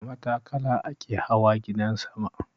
Da matakala ake hawa gidan sama.